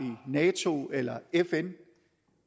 nato eller fn